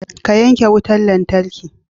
Ka yanke wutar lantarki!